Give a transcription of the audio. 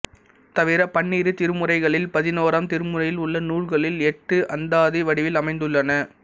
தவிர பன்னிரு திருமுறைகளில் பதினோராம் திருமுறையில் உள்ள நூல்களில் எட்டு அந்தாதி வடிவில் அமைந்துள்ளன